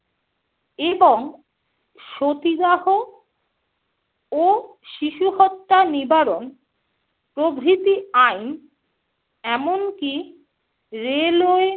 এবং সতীদাহ ও শিশুহত্যা নিবারণ প্রভৃতি আইন, এমনকি railway,